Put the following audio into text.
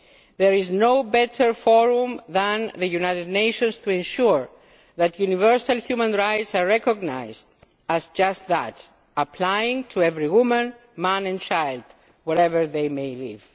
OIC. There is no better forum than the United Nations to ensure that universal human rights are recognised as just that applying to every woman, man and child, wherever they may